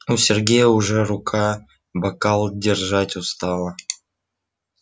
у сергея уже рука бокал держать устала